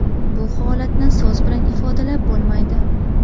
Bu holatni so‘z bilan ifodalab bo‘lmaydi.